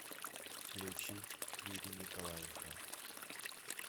включить юрий николаенко